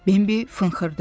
Bambi fınxırdı.